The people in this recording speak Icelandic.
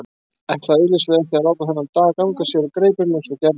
Ætlaði augsýnilega ekki að láta þennan dag ganga sér úr greipum eins og gærdaginn.